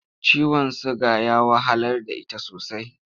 Ciwon suga ya wahalar da ita sosai.